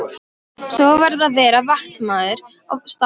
Svo varð að vera vaktmaður á staðnum.